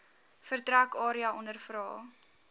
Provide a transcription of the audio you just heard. vertrek area ondervra